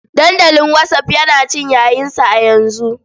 Dandalin whatsapp yana cin yayinsa a yanzu.